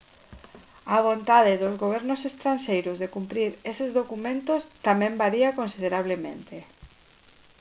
a vontade dos gobernos estranxeiros de cumprir eses documentos tamén varía considerablemente